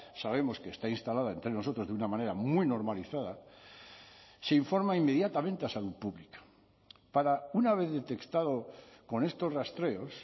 sabemos que está instalada entre nosotros de una manera muy normalizada se informa inmediatamente a salud pública para una vez detectado con estos rastreos